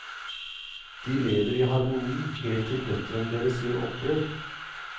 De lever i harmoni helt til døtrene deres gjør opprør.